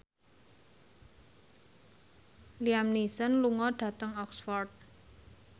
Liam Neeson lunga dhateng Oxford